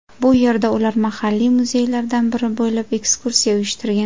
Bu yerda ular mahalliy muzeylardan biri bo‘ylab ekskursiya uyushtirgan.